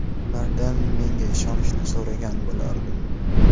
Ulardan menga ishonishni so‘ragan bo‘lardim.